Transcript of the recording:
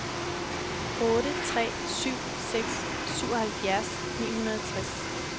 otte tre syv seks syvoghalvfjerds ni hundrede og tres